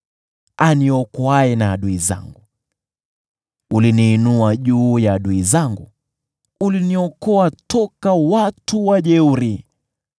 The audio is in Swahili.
aniokoaye na adui zangu. Uliniinua juu ya adui zangu; uliniokoa toka kwa watu wajeuri.